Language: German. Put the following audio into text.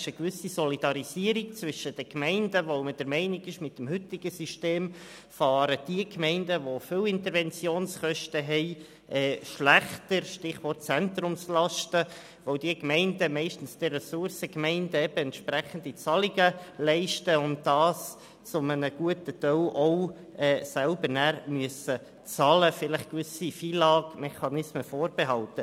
Wir sind der Meinung, dass mit dem heutigen System diejenigen Gemeinden, die hohe Interventionskosten haben, schlechter fahren – Stichwort Zentrumslasten –, weil diese Gemeinden meistens den Ressourcengemeinden entsprechende Zahlungen leisten und sie zu einem guten Teil auch selbst zahlen müssen, gewisse FILAG-Mechanismen vorbehalten.